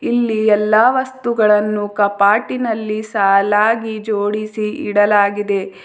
ಇಲ್ಲಿ ಎಲ್ಲಾ ವಸ್ತುಗಳನ್ನು ಕಪಾಟಿನಲ್ಲಿ ಸಾಲಾಗಿ ಜೋಡಿಸಿ ಇಡಲಾಗಿದೆ.